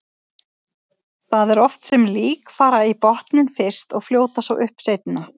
Það er oft sem lík fara í botninn fyrst og fljóta svo upp seinna.